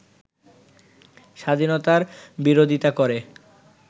স্বাধীনতার বিরোধিতা করে